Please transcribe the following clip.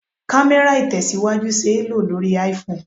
Kamera Itesiwaju ṣé lo lórí IPhone.